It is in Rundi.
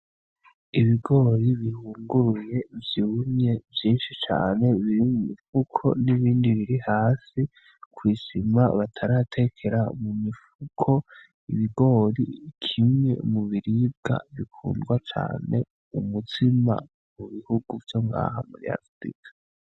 Ibigori bihunguruye vyumye vyinshi cane biri mumufuko n'ibindi birihasi kw'isima bataratekera mumifuko ibigori kimwe mubiribwa bikundwa cane umustima mubihugu vyongaha muri afurika .